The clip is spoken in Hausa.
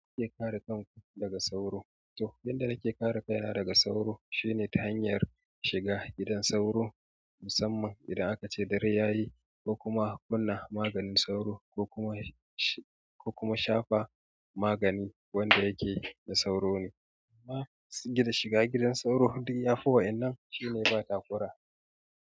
Ya kuke kare kanku daga sauro. To, yanda nake kare kaina daga sauro shine ta hanyar shiga gidan sauro. Musamman idan aka ce dare yayi, ko kuma in kunna maganin sauro ko kuma, ko kuma in shafa magani wanda yake na sauro ne. Kuma shiga gidan sauro duk ya fi wa'inan shine ba takura.